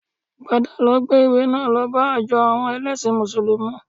Padà lọ gbé ìwé náà lọ bá ìjọ àwọn ẹlẹ́sìn mùsùlùmí